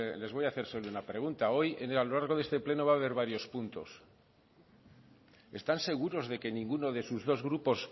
les voy a hacer solo una pregunta hoy a lo largo de este pleno va a haber varios puntos están seguros de que ninguno de sus dos grupos